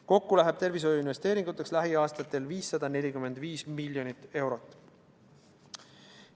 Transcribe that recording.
Kokku läheb tervishoiuinvesteeringuteks lähiaastatel 545 miljonit eurot.